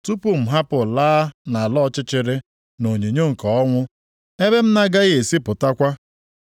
tupu m hapụ laa nʼala ọchịchịrị na onyinyo nke ọnwụ ebe m na-agaghị esi pụtakwa.